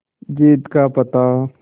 जीत का पता